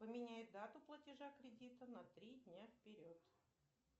поменяй дату платежа кредита на три дня вперед